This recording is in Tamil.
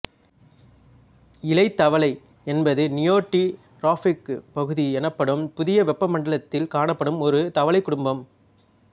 இலைத்தவளை என்பது நியோட்டிராப்பிக்குப் பகுதி எனப்படும் புதிய வெப்பமண்டலத்தில் காணப்படும் ஒரு தவளைக் குடும்பம்